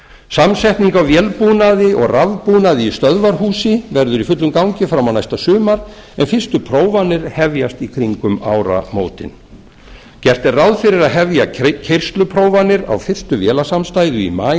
samsetning á vélbúnaði og rafbúnaði í stöðvarhúsi verður í fullum gangi fram á næsta sumar en fyrstu prófanir hefjast í kringum áramótin gert er ráð fyrir að hefja keyrsluprófanir á fyrstu vélasamstæðu í maí